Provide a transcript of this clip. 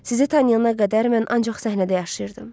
Sizi tanıyana qədər mən ancaq səhnədə yaşayırdım.